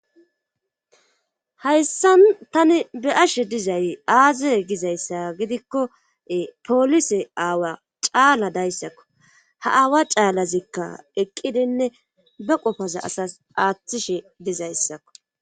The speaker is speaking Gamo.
Hayssan tani be ashe dizay aazie gizayssa gidikko poolise aawa caala dayssakko ha aawa caalazikka eqqidinne be qofaza asas aaththishe dizayssakko.